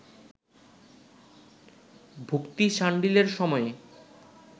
ভক্তি শাণ্ডিল্যের সময়ে